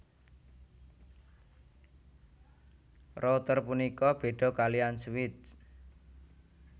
Router punika béda kaliyan switch